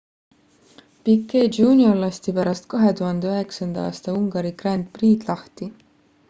piquet jr lasti pärast 2009 aasta ungari grand prix'd lahti